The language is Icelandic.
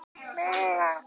Já, það held ég líka.